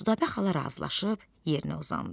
Südabə xala razılaşıb yerinə uzandı.